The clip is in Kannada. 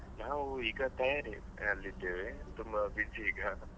ನಾವ್ ಈಗ ತಯಾರಿಯಲ್ಲಿ ಇದ್ದೇವೆ ತುಂಬಾ busy ಈಗ.